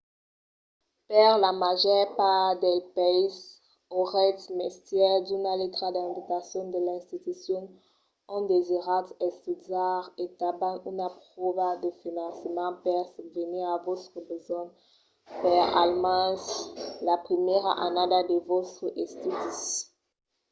per la màger part dels païses auretz mestièr d’una letra d'invitacion de l’institucion ont desiratz estudiar e tanben una pròva de finançament per subvenir a vòstres besonhs per almens la primièra annada de vòstres estudis